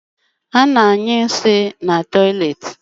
Ana anyụ nsị na tọiletị